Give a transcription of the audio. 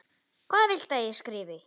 Hvað viltu að ég skrifi?